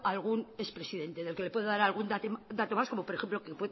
algún ex presidente del que le pueda dar un dato más como por ejemplo que